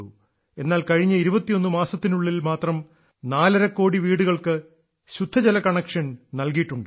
എന്നാൽ കഴിഞ്ഞ 21 മാസത്തിനുള്ളിൽ മാത്രം 430 കോടി വീടുകൾക്ക് ശുദ്ധമായ ജല കണക്ഷൻ നൽകിയിട്ടുണ്ട്